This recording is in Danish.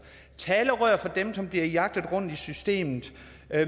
talerør for dem som bliver jagtet rundt i systemet